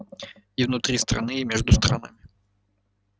и внутри страны и между странами